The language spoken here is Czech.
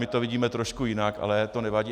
My to vidíme trošku jinak, ale to nevadí.